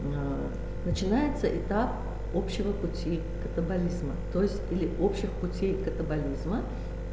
начинается этап общего пути катаболизма то есть или общих путей катаболизма